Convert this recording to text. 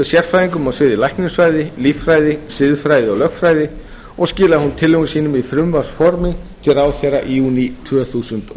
sérfræðingum á sviði læknisfræði líffræði siðfræði og lögfræði og skilaði hún tillögum sínum í frumvarpsformi til ráðherra í júní tvö þúsund og